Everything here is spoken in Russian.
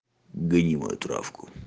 гони мою травку